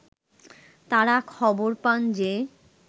তারা খবর পান যে